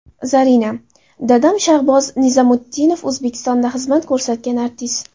Zarina: Dadam Shahboz Nizamutdinov – O‘zbekistonda xizmat ko‘rsatgan artist.